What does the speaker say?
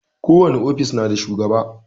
Ko wani ofis na shugaba.